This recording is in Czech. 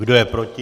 Kdo je proti?